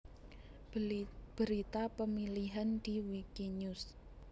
Berita pemilihan di Wikinews